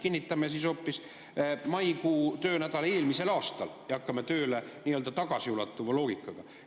Kinnitame siis hoopis maikuu töönädala eelmisel aastal ja hakkame tööle tagasiulatuva loogikaga.